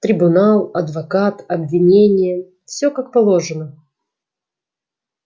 трибунал адвокат обвинение всё как положено